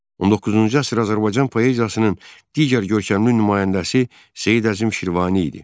19-cu əsr Azərbaycan poeziyasının digər görkəmli nümayəndəsi Seyid Əzim Şirvani idi.